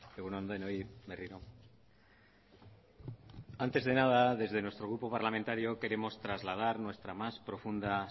egun on denoi berriro antes de nada desde nuestro grupo parlamentario queremos trasladar nuestra más profunda